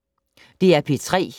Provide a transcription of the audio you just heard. DR P3